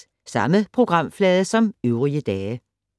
Samme programflade som øvrige dage